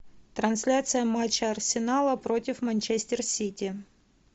трансляция матча арсенала против манчестер сити